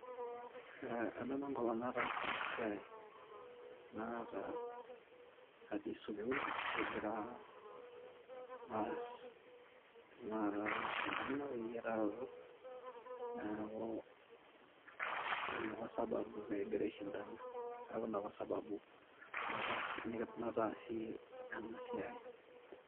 eeh adamu enkolong nataasa ena siai, enakata atii sukuul kigira aas tenakat mashindano eyiataroto neeku ina apa sababu pee kigira aishindana, ina apa sabubu nataasie ena siai.